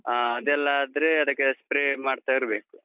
ಹಾ, ಅದೆಲ್ಲಾದ್ರೆ ಅದಕ್ಕೆ spray ಮಾಡ್ತಾ ಇರ್ಬೇಕು.